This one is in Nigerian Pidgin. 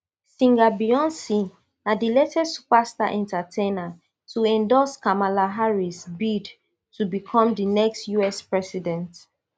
singer beyonc na di latest superstar entertainer to endorse kamala harris bid to become di next us president